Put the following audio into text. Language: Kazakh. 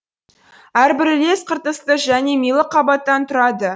әрбір үлес қыртысты және милы қабаттан тұрады